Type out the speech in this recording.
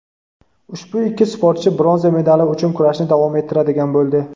Ushbu ikki sportchi bronza medali uchun kurashni davom ettiradigan bo‘ldi.